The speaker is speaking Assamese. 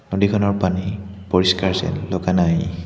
নদীখনৰ পানী পৰিস্কাৰ যেন লগা নাই।